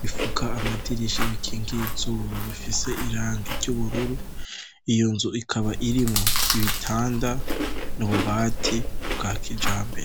bifuka amadirisha bikingiye izuba bifise irangi ry'ubururu iyo nzu ikaba irimwo ibitanda n'ububati bwa kijambere.